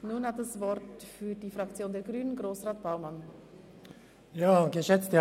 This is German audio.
Nun hat für die Fraktion der Grünen Grossrat Baumann das Wort.